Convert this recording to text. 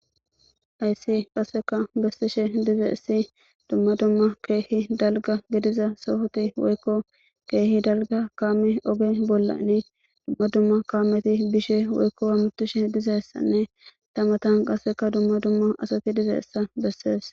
ayssi qasseka bessishe dizeessi dumma dumma keehi dalga gediza sohoti woykko keehi dalga kaame oge bollani dumma dumma kaameti bishe woykko wamutishe dizeessanne tamatan qasseka dumma dumma asati dizeessa bessees